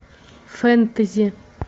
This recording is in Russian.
фэнтези